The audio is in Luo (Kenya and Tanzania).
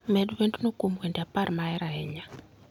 Med wend no kuom wende apar ma ahero ahinya.